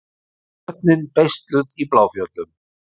Börnin beisluð í Bláfjöllum